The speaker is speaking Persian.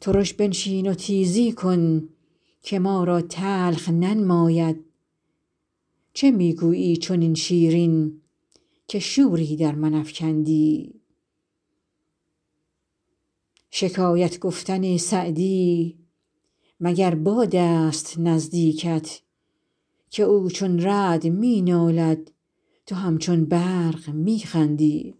ترش بنشین و تیزی کن که ما را تلخ ننماید چه می گویی چنین شیرین که شوری در من افکندی شکایت گفتن سعدی مگر باد است نزدیکت که او چون رعد می نالد تو همچون برق می خندی